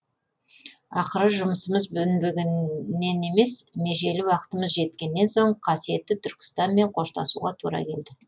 ақыры жұмысымыз өнбегеннен емес межелі уақытымыз жеткеннен соң қасиетті түркстанмен қоштасуға тура келді